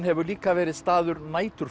hefur líka verið staður